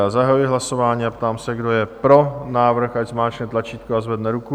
Já zahajuji hlasování a ptám se, kdo je pro návrh, ať zmáčkne tlačítko a zvedne ruku.